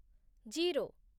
zero